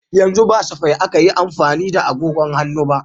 Yanzu ba safai akan yi amfani da agogon hannu ba.